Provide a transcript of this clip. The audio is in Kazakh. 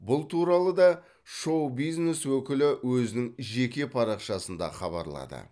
бұл туралы да шоу бизнес өкілі өзінің жеке парақшасында хабарлады